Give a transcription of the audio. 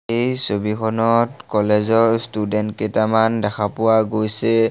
এই ছবিখনত কলেজৰ ষ্টুদেন্ত কেইটামান দেখা পোৱা গৈছে।